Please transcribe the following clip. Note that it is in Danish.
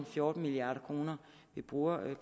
fjorten milliard kr vi bruger